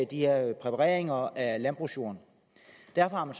de her præpareringer af landbrugsjorden derfor har man